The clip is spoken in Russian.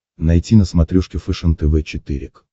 найти на смотрешке фэшен тв четыре к